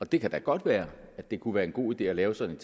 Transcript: det kan da godt være at det kunne være en god idé at lave sådan